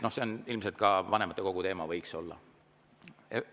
See on ilmselt ka vanematekogu teema, vähemalt võiks olla.